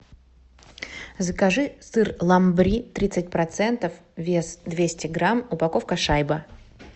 закажи сыр ламбри тридцать процентов вес двести грамм упаковка шайба